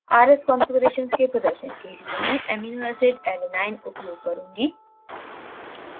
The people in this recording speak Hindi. rs configurations के प्रदर्शन के लिए मैं amino acidalanine उपयोग करुँगी